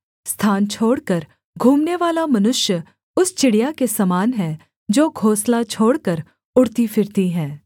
स्थान छोड़कर घूमनेवाला मनुष्य उस चिड़िया के समान है जो घोंसला छोड़कर उड़ती फिरती है